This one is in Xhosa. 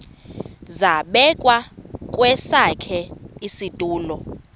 zabekwa kwesakhe isitulo